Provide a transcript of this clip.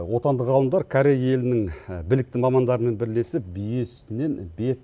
отандық ғалымдар корей елінің білікті мамандарымен бірлесіп бие сүтінен бет